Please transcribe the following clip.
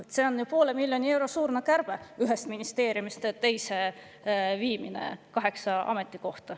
See on ju poole miljoni euro suurune kärbe, kaheksa ametikoha ühest ministeeriumist teise viimine.